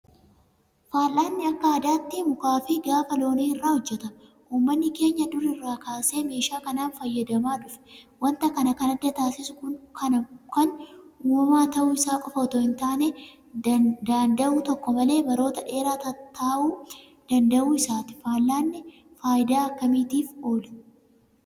Fal'aanni akka aadaatti Mukaafi Gaafa Loonii irraa hojjetama. Uummanni keenya dur irraa kaasee meeshaa kanaan fayyadamaa dhufe. Waanta kana kan adda taasisu kan uumamaa ta'uu isaa qofa itoo hintaane daanda'uu tokko malee baroota dheeraa taa'uu danda'uu isaati. Fal'aanni faayidaa akkamiitiif oola?